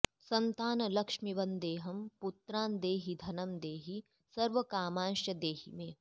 सन्तानलक्ष्मि वन्देऽहं पुत्रान् देहि धनं देहि सर्वकामांश्च देहि मे